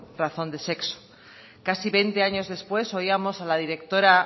razón de sexo casi veinte años después oíamos a la directora